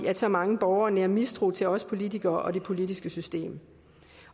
at så mange borgere nærer mistro til os politikere og det politiske system